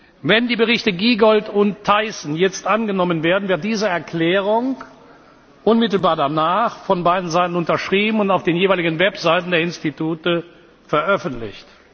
Wenn die Berichte Giegold und Thyssen jetzt angenommen werden, wird diese Erklärung unmittelbar danach von beiden Seiten unterschrieben und auf den jeweiligen Websites der Institute veröffentlicht.